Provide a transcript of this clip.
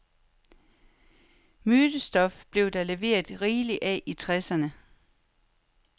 Mytestof blev der leveret rigeligt af i tresserne.